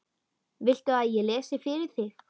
Viltu að ég lesi fyrir þig?